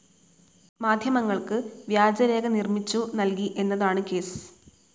മാധ്യമങ്ങൾക്ക് വ്യാജരേഖ നിർമ്മിച്ചു നൽകി എന്നതാണ് കേസ്.